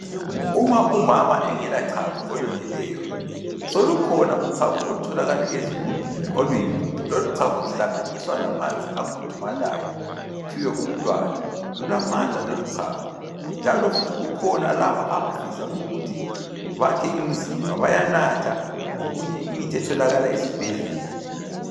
Uma umama engelachago olweneleyo solukhona uchago olutholakala ezigubhini oluyimpuphu. Loluchago luhlanganiswa lamanzi akhudumalayo luphiwe umntwana . Lulamandla loluchago njalo futhi kukhona laba abafisa ukuthi bakhe imizimba bayanatha okunye imithi etholakala esibhedlela.